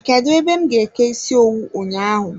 Kedụ ebe m ga-eke ịsị owu ụnyaahụ?